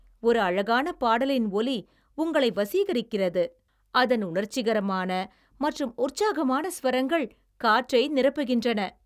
ஒரு அழகான பாடலின் ஒலி உங்களை வசீகரிக்கிறது, அதன் உணர்ச்சிகரமான மற்றும் உற்சாகமான ஸ்வரங்கள் காற்றை நிரப்புகின்றன.